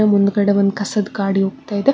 ಹಾಗೆ ಮುಂದ್ಗಡೆ ಒಂದು ಕಸದ ಗಾಡಿ ಹೋಗ್ತಾ ಇದೆ.